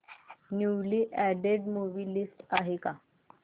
newly added movie list आहे का